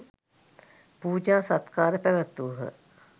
පූජා සත්කාර පැවැත්වූහ.